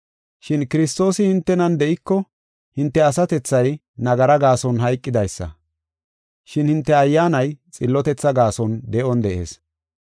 Shin Kiristoosi hintenan de7iko, hinte asatethay nagara gaason hayqidaysa. Shin hinte ayyaanay xillotethaa gaason de7on de7ees.